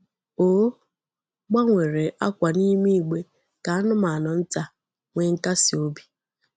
O gbanwere akwa n'ime igbe ka anụmanụ nta nwee nkasi obi.